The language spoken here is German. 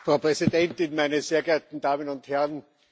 Frau Präsidentin, meine sehr geehrten Damen und Herren!